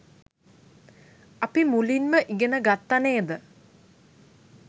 අපි මුලින්ම ඉගෙන ගත්ත නේද